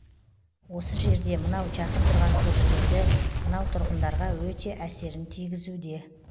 осы жерде мынау жақын тұрған көршілерді мынау тұрғындарға өте әсерін тигізуде